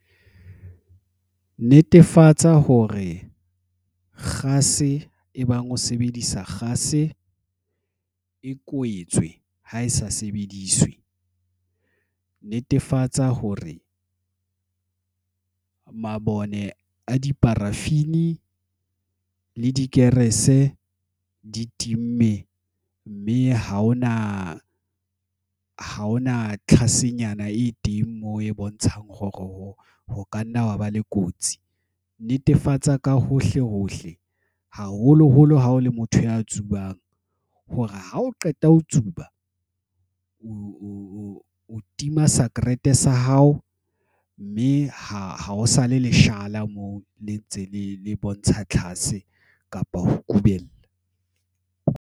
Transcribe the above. Netefatsa hore kgase e bang ho sebedisa kgase e kwetswe ha e sa sebediswe. Netefatsa hore mabone a di-paraffien le dikerese di time, mme ha hona tlhase nyana e teng moo e bontshang hore ho ka nna wa ba le kotsi. Netefatsa ka hohle hohle. Haholoholo ha o le motho ya tsubang hore ha o qeta ho tsuba o tima sekarete sa hao, mme ha ho sale leshala moo le ntse le bontsha tlhase kapa ho kubela.